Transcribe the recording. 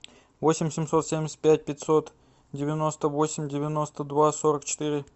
восемь семьсот семьдесят пять пятьсот девяносто восемь девяносто два сорок четыре